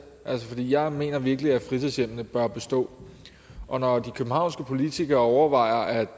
jeg mener virkelig at fritidshjemmene bør bestå og når de københavnske politikere overvejer